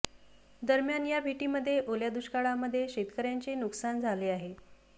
दरम्यान या भेटीमध्ये ओल्या दुष्काळामध्ये शेतकर्यांचे नुकसान झालं आहे